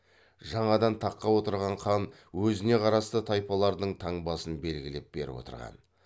жаңадан таққа отырған хан өзіне қарасты тайпалардың таңбасын белгілеп беріп отырған